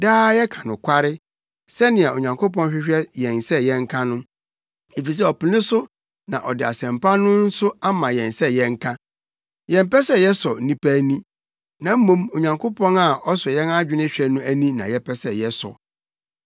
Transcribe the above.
Daa yɛka nokware, sɛnea Onyankopɔn hwehwɛ yɛn sɛ yɛnka no, efisɛ ɔpene so na ɔde Asɛmpa no nso ama yɛn sɛ yɛnka. Yɛmpɛ sɛ yɛsɔ nnipa ani, na mmom Onyankopɔn a ɔsɔ yɛn adwene hwɛ no ani na yɛpɛ sɛ yɛsɔ.